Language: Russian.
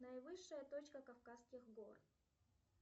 наивысшая точка кавказских гор